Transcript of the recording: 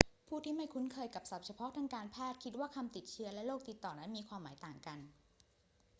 ผู้ที่ไม่คุ้นเคยกับศัพท์เฉพาะทางการแพทย์คิดว่า คำว่าติดเชื้อและโรคติดต่อนั้นมีความหมายต่างกัน